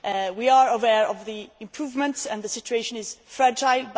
We are aware of the improvements, and the situation is fragile.